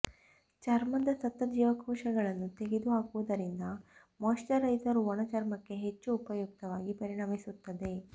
ಚರ್ಮದ ಸತ್ತ ಜೀವಕೋಶಗಳನ್ನು ತೆಗೆದು ಹಾಕುವುದರಿಂದ ಮಾಯಿಶ್ಚರೈಸರ್ ಒಣ ಚರ್ಮಕ್ಕೆ ಹೆಚ್ಚು ಉಪಯುಕ್ತವಾಗಿ ಪರಿಣಮಿಸುತ್ತದೆ